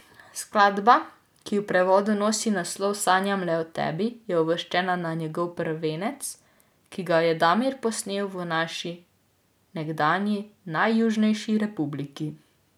Skladba, ki v prevodu nosi naslov Sanjam le o tebi, je uvrščena na njegov prvenec, ki ga je Damir posnel v naši nekdanji najjužnejši republiki.